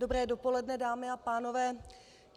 Dobré dopoledne, dámy a pánové.